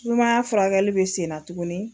Sumaya furakɛli bɛ sen na tuguni